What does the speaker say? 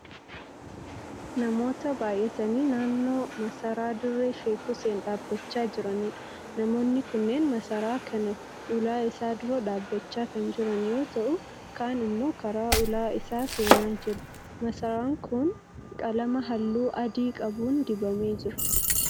Namoota baay'atanii naannoo masaraa dirree sheek Huseen dhaabbachaa jiraniidha. Namoonni kunneen masaraa kana ulaa isaa dura dhaabbachaa kan jiran yoo ta'u kaan immoo karaa ulaa isaa seenaa jiru. Masaraan kun qalama halluu adii qabuun dibamee jira.